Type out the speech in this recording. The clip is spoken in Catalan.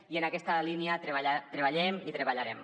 i en aquesta línia treballem i treballarem